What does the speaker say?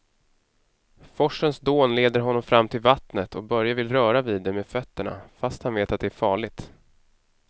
Forsens dån leder honom fram till vattnet och Börje vill röra vid det med fötterna, fast han vet att det är farligt.